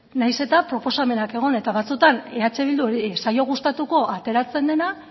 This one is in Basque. nahiz eta proposamenak egon eta batzuetan eh bilduri ez zaio gustatuko ateratzen dena